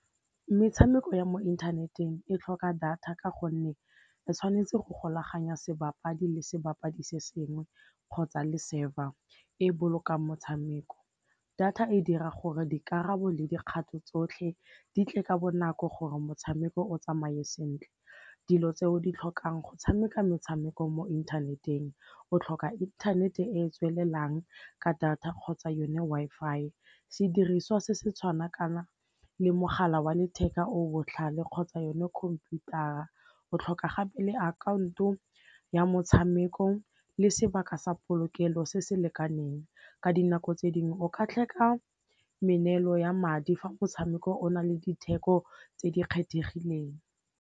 Metshameko ya mo inthaneteng e tlhoka data ka gonne e tshwanetse go golaganya sebapadi le sebapadi se sengwe kgotsa le server, e bolokang motshameko. Data e dira gore dikarabo le dikgato tsotlhe di tle ka bonako gore motshameko o tsamaye sentle. Dilo tse o di tlhokang go tshameka metshameko mo inthaneteng o tlhoka inthanete e e tswelelang ka data kgotsa yone Wi-Fi, sediriswa se se tshwana kana le mogala wa letheka o botlhale kgotsa yone khomputara, o tlhoka gape le akhaonto ya motshameko le sebaka sa polokelo se se lekaneng. Ka dinako tse dingwe o ka tlhoka meneelo ya madi fa motshameko o na le ditheko tse di kgethegileng.